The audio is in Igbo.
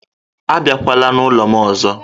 Abịakwala n'ụlọ m ọzọ